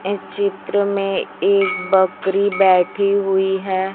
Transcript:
इस चित्र में एक बकरी बैठी हुई है।